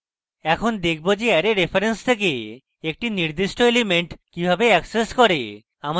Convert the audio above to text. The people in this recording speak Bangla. এখন দেখবো যে অ্যারে reference থেকে একটি নির্দিষ্ট element কিভাবে অ্যাক্সেস করে